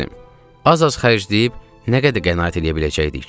Az-az xərcləyib nə qədər qənaət eləyə biləcəydik ki?